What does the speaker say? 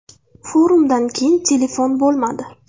Forumdan keyin telefon bo‘lmadi.